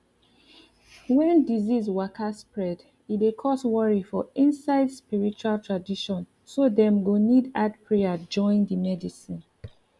wen disease waka spread e dey cause worry for inside spiritual tradition so dem go need add prayer join di medicine